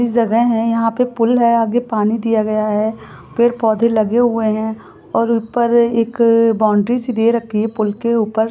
यह एक जगह है यहाँ पे पुल है आगे पानी दिया गया है पेड़ पोधे लगे हुए है और ऊपर एक बॉउंड्री से दे रखी है पुल के ऊपर--